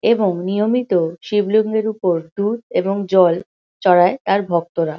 এবং নিয়মিত শিবলিঙ্গের উপর দুধ এবং জল চড়ায় তার ভক্তরা।